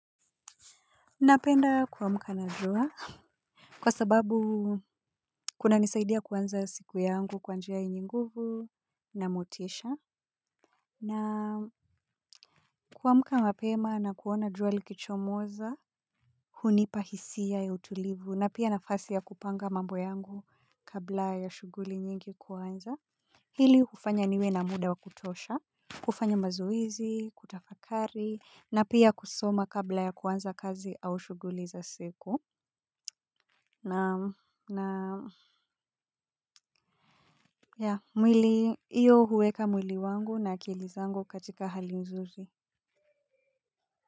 Napenda kuamka na jua. Kwa sababu kunanisaidia kuanza siku yangu kwa njia yenye nguvu na motisha. Na kuamka mapema na kuona jua likichomoza. Hunipa hisia ya utulivu na pia nafasi ya kupanga mambo yangu kabla ya shughuli nyingi kuanza. Hili hufanya niwe na muda wa kutosha. Kufanya mazoezi, kutafakari na pia kusoma kabla ya kuanza kazi au shughuli za siku. Na ya, mwili, hiyo huweka mwili wangu na akili zangu katika hali nzuri.